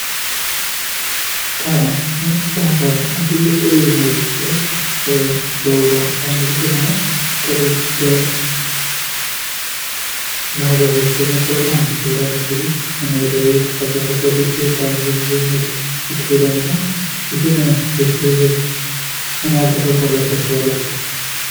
ጣና በባህር ዳር የሚገኝ ቱሪዝም መስህብ ሲሆን በውቧ ባህርዳር ከተማ ጥርን በባህር ዳር የተሰኘ ፕሮግራም ይካሄዳል ።እንግዲህ የተለያዩ የጢስ አባይ ፏፏቴዎችን ወይም ጣናን በመጎብኘት ይካሄዳል እና ይህን የቱሪዝም ምን ያህል ተሰርቷል ብላችሁ ታስባላችሁ።